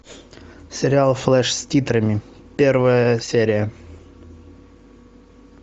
сериал флеш с титрами первая серия